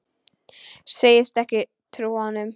Segist ekki trúa honum.